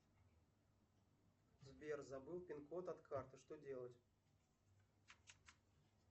сбер забыл пин код от карты что делать